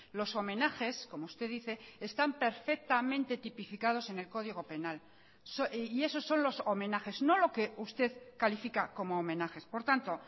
los homenajes como usted dice están perfectamente tipificados en el código penal y esos son los homenajes no lo que usted califica como homenajes por tanto